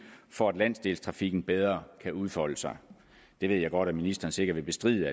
for at landsdelstrafikken bedre kan udfolde sig det ved jeg godt at ministeren sikkert vil bestride